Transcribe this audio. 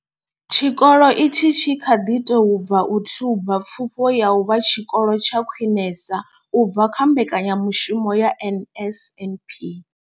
Tshikolo itshi tshi kha ḓi tou bva u thuba pfufho ya u vha tshikolo tsha khwinesa u bva kha mbekanyamushumo ya NSNP.